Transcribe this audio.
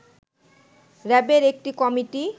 র‍্যাবের একটি কমিটি